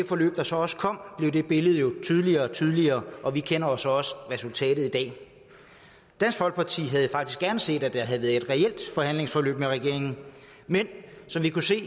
forløb der så også kom blev det billede jo tydeligere og tydeligere og vi kender så også resultatet i dag dansk folkeparti havde faktisk gerne set at der havde været et reelt forhandlingsforløb med regeringen men som vi kunne se